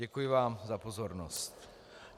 Děkuji vám za pozornost.